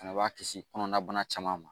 Fana b'a kisi kɔnɔnabana caman ma